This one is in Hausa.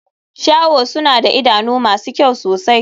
Shaho suna da idanu masu kyau sosai.